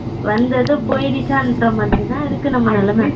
வந்தது போயிருச்சான்ற மாதிரி தான் இருக்கு நம்ம நிலமா